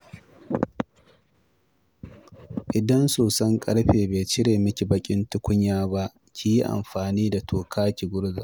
Idan soson ƙarfe bai cire miki baƙin tukunya ba, ki yi amfani da toka ki gurza